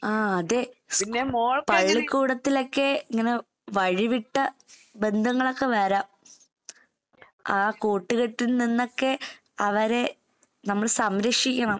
ആഹ് അതെ പള്ളിക്കൂടത്തിലൊക്കെ ഇങ്ങനെ വഴിവിട്ട ബന്ധങ്ങളൊക്കെ വരാം. ആ കൂട്ടുകെട്ടിൽ നിന്നൊക്കെ അവരെ നമ്മൾ സംരക്ഷിക്കണം.